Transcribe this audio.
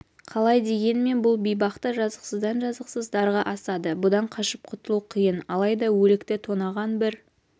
қалай дегенмен бұл бейбақты жазықсыздан жазықсыз дарға асады бұдан қашып құтылу қиын алайда өлікті тонаған бір